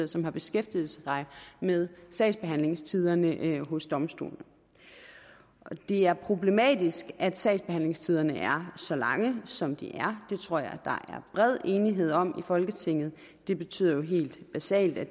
som har beskæftiget sig med sagsbehandlingstiderne hos domstolene det er problematisk at sagsbehandlingstiderne er så lange som de er det tror jeg der er bred enighed om i folketinget det betyder jo helt basalt at